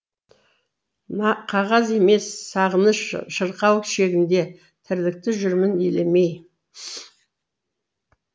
қағаз емес сағыныш шырқау шегінде тірлікті жүрмін елемей